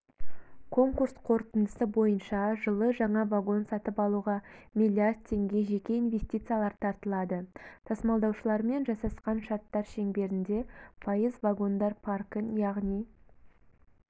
конкурс қорытындысы бойынша жылы жаңа вагон сатып алуға млрд теңге жеке инвестициялар тартылады тасымалдаушылармен жасасқан шарттар шеңберінде пайыз вагондар паркін яғни